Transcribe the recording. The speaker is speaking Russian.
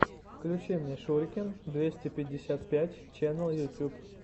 включи мне шурикен двести пятьдесят пять ченел ютуб